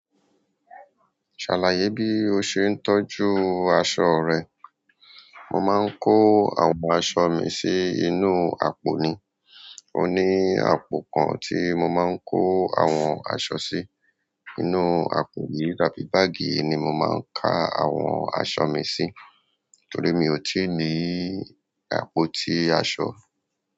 Ṣàlàyé bí o ṣe ń tọ́jú àṣo rẹ. Mo máa ń kó àwọn aṣọ mi sí inú àpó ni. Ó ní àpò kan tí mo máa ń kó àwọn aṣọ sí. Inú àpò yíì ràbí báàgì ni mo máa ń ka àwọn aṣọ mi sí torí mi ò tí ì ní àpótí aṣọ.